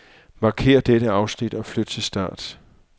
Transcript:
Markér dette afsnit og flyt til start.